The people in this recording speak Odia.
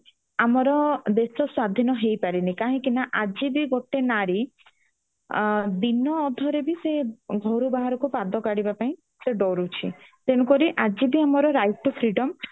ଆଜି ବି ଆମର ଦେଶ ସ୍ଵାଧୀନ ହେଇପାରିନି କାହିଁକି ନା ଆଜି ବି ଗୋଟେ ନାରୀ ଦିନ ଅଧରେ ବି ଘର ବାହାରକୁ ପଦ କାଢିବା ପାଇଁ ସ ଡରୁଛି ତେଣୁ କରି ଆଜି ବି ଆମର right to freedom